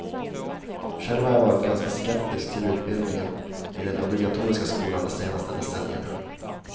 Själv har jag varit ganska skeptisk till utbildningen i den obligatoriska skolan de senaste decennierna.